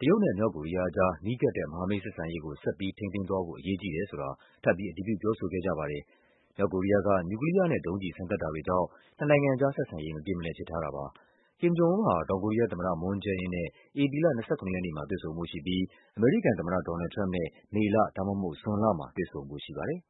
တရုတ်နဲ့ မြောက်ကိုရီးယားအကြား နီးကပ်တဲ့ မဟာမိတ် ဆက်ဆံရေးကို ဆက်ပြီးထိန်းသိမ်းသွားဖို့ အရေးကြီးတယ်ဆိုတာ ထပ်ပြီး အတည်ပြု ပြောဆိုခဲ့ကြပါတယ်။ မြောက်ကိုရီးယားက နျူကလီးယားနဲ့ ဒုံးကျည်စမ်းသပ်တာတွေကြောင့် နှစ်နိုင်ငံကြားဆက်ဆံရေး မပြေမလည်ဖြစ်ထားတာပါ။ Kim Jong Un ဟာ တောင်ကိုရီးယားသမ္မတ Moon Jae In နဲ့ ဧပြီလ ၂၇ ရက်နေ့မှာ တွေ့ဆုံဖို့ရှိပြီး အမေရိကန်သမ္မတ ဒေါ်နယ်လ်ဒ် ထရမ့်ပ်နဲ့ မေ ဒါမှမဟုတ် ဇွန်လမှာ တွေ့ဆုံဖို့ရှိပါတယ်